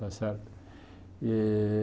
Está certo? Eh